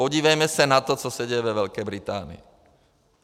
Podívejme se na to, co se děje ve Velké Británii.